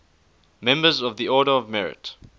members of the order of merit